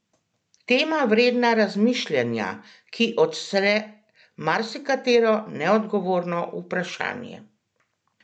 Tema vredna razmišljanja, ki odstre marsikatero neodgovorjeno vprašanje!